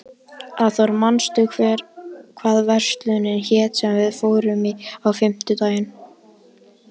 Arthur, manstu hvað verslunin hét sem við fórum í á fimmtudaginn?